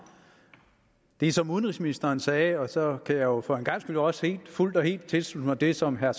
det som udenrigsministeren sagde og så kan jeg jo for en gangs skyld også fuldt og helt tilslutte mig det som herre